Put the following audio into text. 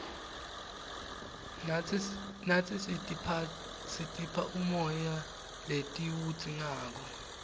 natsi sitipha umoya letiwudzingako